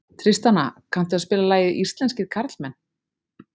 Tristana, kanntu að spila lagið „Íslenskir karlmenn“?